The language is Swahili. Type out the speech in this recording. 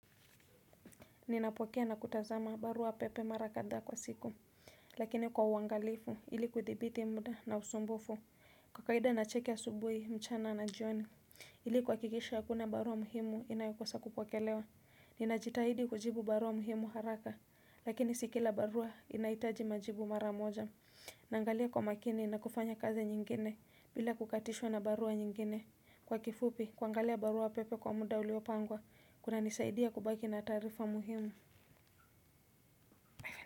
Ninapokea na kutazama barua pepe mara kadhaa kwa siku. Lakini kwa uangalifu ili kuthibiti muda na usumbufu. Kwa kawaida nacheki asubuhi, mchana na jioni ili kuhakikisha hakuna barua muhimu inayokosa kupokelewa. Ninajitahidi kujibu barua muhimu haraka. Lakini si kila barua inahitaji majibu mara moja. Naangalia kwa makini na kufanya kazi nyingine bila kukatishwa na barua nyingine. Kwa kifupi kuangalia barua pepe kwa muda uliopangwa, kuna nisaidia kubaki na taarifa muhimu.